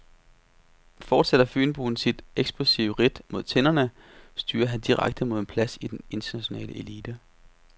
Fortsætter fynboen sit eksplosive ridt mod tinderne, styrer han direkte mod en plads i den internationale elite.